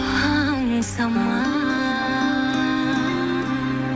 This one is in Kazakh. аңсама